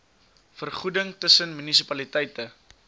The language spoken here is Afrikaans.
vergoeding tussen munisipaliteite